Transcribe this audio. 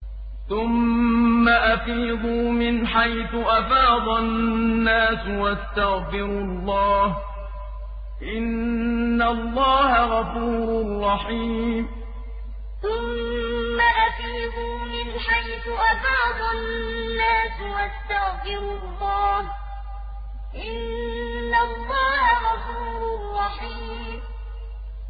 ثُمَّ أَفِيضُوا مِنْ حَيْثُ أَفَاضَ النَّاسُ وَاسْتَغْفِرُوا اللَّهَ ۚ إِنَّ اللَّهَ غَفُورٌ رَّحِيمٌ ثُمَّ أَفِيضُوا مِنْ حَيْثُ أَفَاضَ النَّاسُ وَاسْتَغْفِرُوا اللَّهَ ۚ إِنَّ اللَّهَ غَفُورٌ رَّحِيمٌ